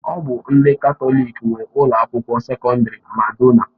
Ọ bụ ndị Katọlik nwe Ụlọ akwụkwọ sekọndrị Madonna.